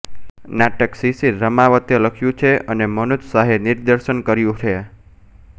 નાટક શિશિર રામાવતે લખ્યું છે અને મનોજ શાહે દિગ્દર્શન કર્યું છે